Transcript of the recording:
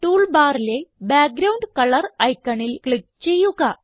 tool ബാറിലെ background colour ഐക്കണിൽ click ചെയ്യുക